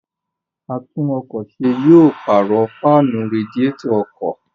Àtún-ọkọ̀-se yóò pààrọ̀ fáànù radiétọ̀ ọkọ̀.